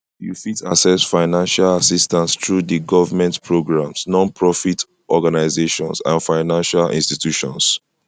you fit access fiancial assistance through di government programs nonprofit organization and financial institutions